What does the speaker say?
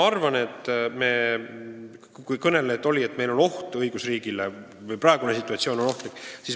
Eelkõneleja väitis, et meil on oht õigusriigile, et praegune situatsioon on ohtlik.